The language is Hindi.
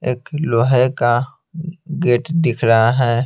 एक लोहे का गेट दिख रहा है।